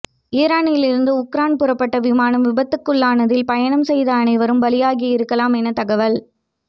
ஈரானில் இருந்து உக்ரைன் புறப்பட்ட விமானம் விபத்துக்குள்ளானதில் பயணம் செய்த அனைவரும் பலியாகி இருக்கலாம் என தகவல்